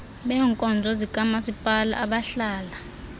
beebkonzo zikamaspala abahlala